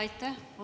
Aitäh!